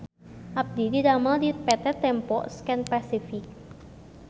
Abdi didamel di PT Tempo Scan Pasific